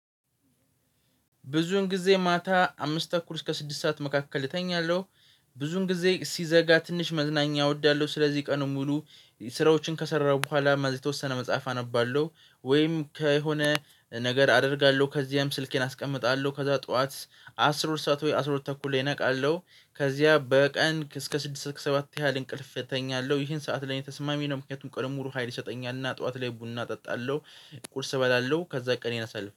ብዙውን ጊዜ ማታ አምስት ተኩል እስከ ስድስት ሰዓት መካከል እተኛለሁ። ብዙን ጊዜ ሲዘጋ ትንሽ መዝናኛ እወዳለሁ ስለዚህ ቀኑን ሙሉ ስራዎችን ከሰራሁ በኋላ ማዘይ የተወሰነ መጽሐፍ አነባለሁ። ወይም ከሆነ ነገር አደርጋለሁ ከዚህም ስልኬን አስቀምጣለሁ ከዛ ጠዋት አስራ ሁለት ሰዓት ወይ አስራ ሁለት ተኩል ላይ እነቃለሁ። ከዚያ በቀን እስከ ስድስት ሰባት ያህል እንቅልፍ እተኛለሁ ይሄን ሰዓት ላይ ተስማሚ ነው ምክንያቱም ቀኑን ሙሉ ሀይል ይሰጠኛል እና ጠዋት ላይ ቡና እጠጣለሁ። ቁርስ እበላለሁ ከዛ ቀን ይነሳል